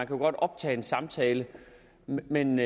jo godt optage en samtale men